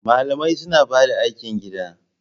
Malamai suna bada aikin gida